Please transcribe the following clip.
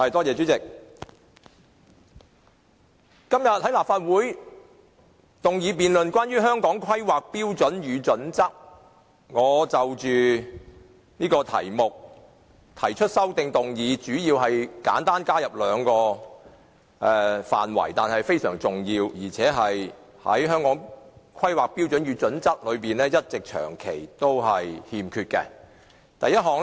主席，今天討論的議案有關《香港規劃標準與準則》，我亦就該議題提出修正案，主要加入兩個非常重要和《規劃標準》長期欠缺的的範圍。